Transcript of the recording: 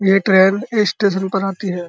ये ट्रेन इस स्टेशन पर आती है।